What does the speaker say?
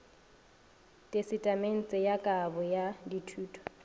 tesetamente ya kabo ya dithoto